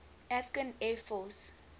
afghan air force